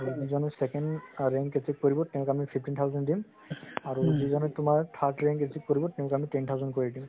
যিজনে second rank receive কৰিব তেওঁক আমি fifteen thousand দিম আৰু যিজনে তুমাৰ third rank rank receive কৰিব তেওঁক আমি ten thousand কৰি দিম